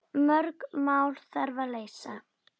Mörg mál þarf að leysa.